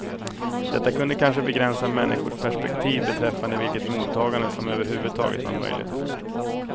Detta kunde kanske begränsa människors perspektiv beträffande vilket mottagande som överhuvudtaget var möjligt.